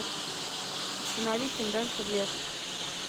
установи чем дальше в лес